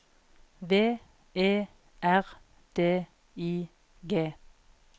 V E R D I G